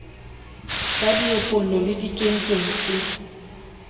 sa diepollo le dikenkeng se